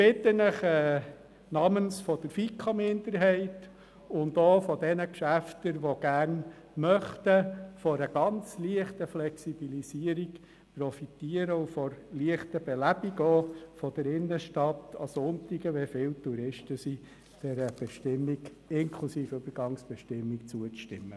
Ich bitte Sie namens der FiKo-Minderheit und der Geschäfte, die gern von der Flexibilisierung und von der Belebung der Innenstadt an Sonntagen profitieren würden, der Bestimmung inklusive Übergangsbestimmung zuzustimmen.